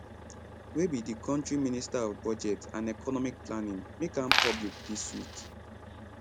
wey be di kontri minister of budget and economic planning make am public dis week